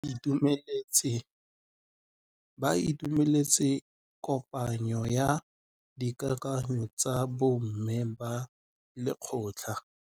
Ba itumeletse kôpanyo ya dikakanyô tsa bo mme ba lekgotla.